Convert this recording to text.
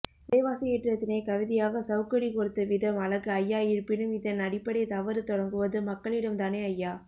விலைவாசி ஏற்றத்தினை கவிதையாக சவுக்கடி கொடுத்த விதம் அழகு ஐயா இருப்பினும் இதன் அடிப்படை தவறு தொடங்குவது மக்களிடம்தானே ஐயா